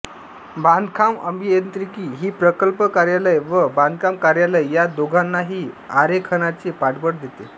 बांधकाम अभियांत्रिकी ही प्रकल्प कार्यालय व बांधकाम कार्यालय या दोघांनाही आरेखनाचे पाठबळ देते